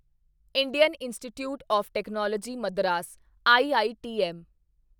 Indian institute of technology Madras IITM